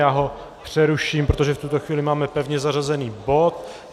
Já ho přeruším, protože v tuto chvíli máme pevně zařazený bod.